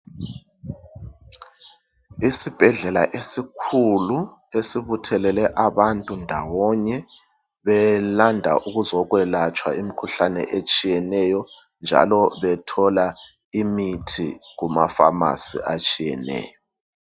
Isibhedlela esikhulu esibuthelele abantu ndawonye, belanda ukuzekwelatshwa imikhuhlane etshiyeneyo njalo bethola imithi ema pharmacy atshiyeneyo.